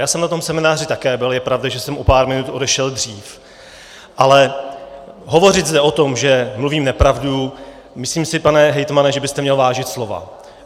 Já jsem na tom semináři také byl, je pravda, že jsem o pár minut odešel dříve, ale hovořit zde o tom, že mluvím nepravdu - myslím si, pane hejtmane, že byste měl vážit slova.